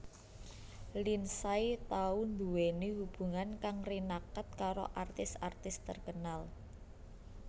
Lindsay tau nduwèni hubungan kang rinaket karo artis artis terkenal